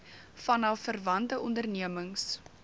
vanaf verwante ondernemings